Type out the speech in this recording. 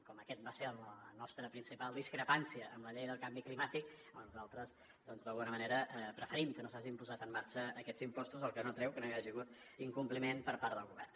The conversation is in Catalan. com que aquesta va ser la nostra principal discrepància amb la llei del canvi climàtic doncs nosaltres d’alguna manera preferim que no s’hagin posat en marxa aquests impostos cosa que no treu que no hi hagi hagut incompliment per part del govern